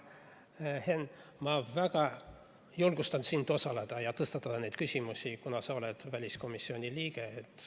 Henn, ma julgustan sind osalema ja tõstatama neid küsimusi, kuna sa oled väliskomisjoni liige.